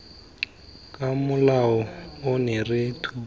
ka molao ono re tshuba